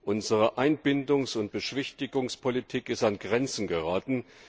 Unsere Einbindungs und Beschwichtigungspolitik ist an Grenzen geraten.